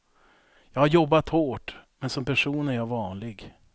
Jag har jobbat hårt, men som person är jag vanlig.